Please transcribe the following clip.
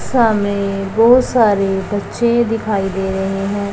सामने बहुत सारे बच्चे दिखाई दे रहे हैं।